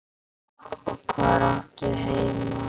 Og hvar áttu heima?